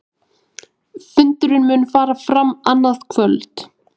Fundurinn mun fara fram annað kvöld